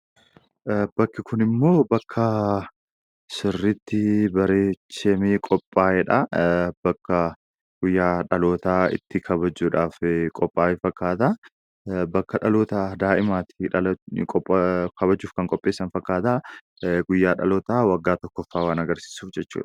Bakki kun immoo bakka sirriitti bareechamee qophaa'edha. Bakka guyyaa dhalootaa itti kabajuudhaaf qophaa'e fakkaata. Bakka dhaloota daa'imaa itti kabajuuf qophaa'e fakkaata guyyaa dhalootaa waggaa tokkoffaa waan agarsiisuuf jechuudha.